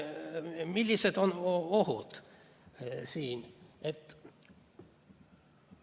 Millised on siin ohud?